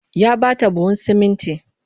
Ya ba ta buhun sumunti